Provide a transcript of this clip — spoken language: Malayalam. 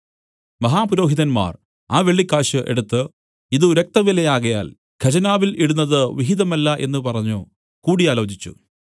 മഹാപുരോഹിതന്മാർ ആ വെള്ളിക്കാശ് എടുത്തു ഇതു രക്തവിലയാകയാൽ ഖജനാവിൽ ഇടുന്നത് വിഹിതമല്ല എന്നു പറഞ്ഞു കൂടി ആലോചിച്ചു